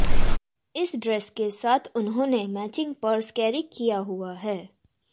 इस ड्रेस के साथ उन्होंने मैचिंग पर्स कैरी किया हुआ है